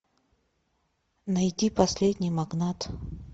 найди последний магнат